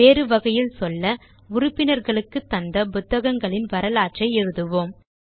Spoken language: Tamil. வேறு வகையில் சொல்ல உறுப்பினர்களுக்கு தந்த புத்தகங்களின் வரலாற்றை எழுதுவோம்